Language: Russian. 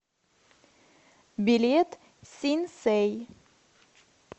билет синсэй